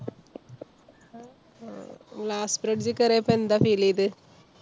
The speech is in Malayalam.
glass bridge കേറീപ്പൊ എന്താ feel ഈത്?